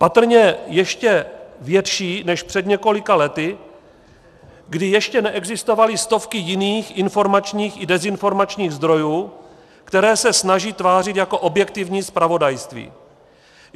Patrně ještě větší než před několika lety, kdy ještě neexistovaly stovky jiných informačních i dezinformačních zdrojů, které se snaží tvářit jako objektivní zpravodajství.